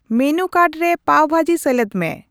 menu card ᱨᱮ ᱯᱟᱵᱷ ᱵᱷᱟᱹᱡᱤ ᱥᱮᱞᱮᱫ ᱢᱮ